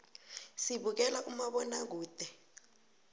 sibukela umabonakude